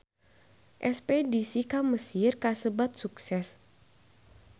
Espedisi ka Mesir kasebat sukses